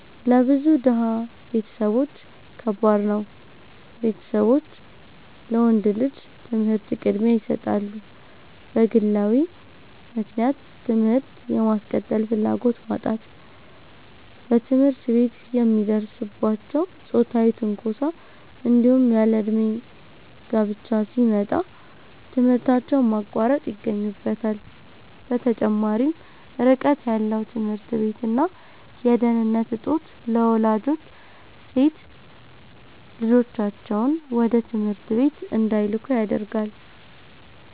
ለብዙ ድሃ ቤተሰቦች ከባድ ነው፤ ቤተሰቦች ለወንድ ልጅ ትምህርት ቅድሚያ ይሰጣሉ። በግለዊ ምክንያት ትምህርት የማስቀጠል ፍላጎት ማጣት፣ በትምህርት ቤት የሚደርስባቸው ጾታዊ ትንኮሳ፣ እንዲሁም ያለእድሜ ጋብቻ ሲመጣ ትምህርታቸውን ማቋረጥ ይገኙበታል። በተጨማሪም ርቀት ያለው ትምህርት ቤት እና የደህንነት እጦት ለወላጆች ሴት ልጆቻቸውን ወደ ትምህርት ቤት እንዳይልኩ ያደርጋል።